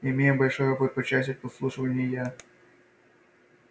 имея большой опыт по части подслушивания я